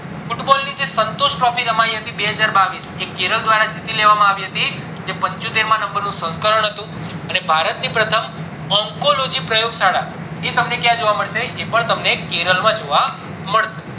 football ની જે Santosh trophy રામની હતી બેહજાર બાવીસ એ કેરલ દ્વારા જીતી લેવામાં આવી જે પંચોતેર માં નબર નું અને ભારત ની પ્રથમ અંકો લોજી પ્રયોગ શાળા એ તમને ક્યાં જોવા મળશે તો એ પણ તમને કેરલ માં જોવા મળશે